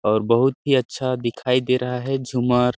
और बहुत ही अच्छा दिखाई दे रहा है झूमर --